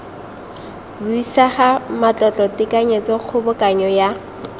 buisega matlotlo tekanyetso kgobokanyo ya